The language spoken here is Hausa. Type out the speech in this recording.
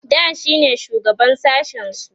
da shine shugaban sashen su